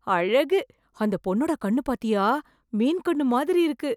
அழகு அந்த பொண்ணோட கண்ணு பாத்தியா மீன் கண்ணு மாதிரி இருக்கு!